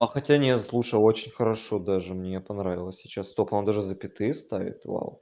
а хотя не слушал очень хорошо даже мне понравилось сейчас стоп а он даже запятые ставит вау